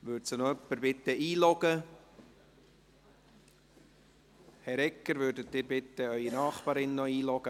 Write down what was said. Würde sie bitte jemand einloggen? – Herr Egger, würden Sie bitte Ihre Nachbarin einloggen?